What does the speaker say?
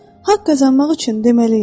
Haqq qazanmaq üçün deməliyəm.